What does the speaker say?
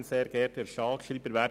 Bichsel hat das Wort.